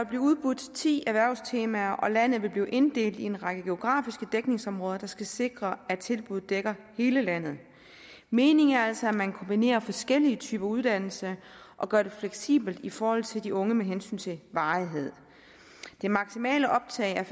blive udbudt ti erhvervstemaer og landet vil blive inddelt i en række geografiske dækningsområder der skal sikre at tilbuddet dækker hele landet meningen er altså at man kombinerer forskellige typer uddannelser og gør det fleksibelt i forhold til de unge med hensyn til varighed det maksimale optag er